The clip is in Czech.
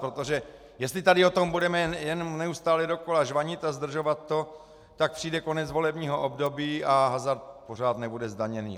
Protože jestli tady o tom budeme jen neustále dokola žvanit a zdržovat to, tak přijde konec volebního období a hazard pořád nebude zdaněný.